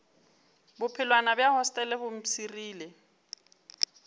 bophelwana bja hostele bo mpshirile